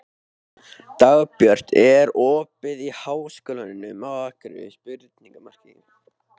Dagbjört, er opið í Háskólanum á Akureyri?